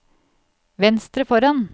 venstre foran